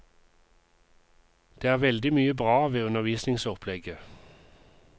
Det er veldig mye bra ved undervisningsopplegget.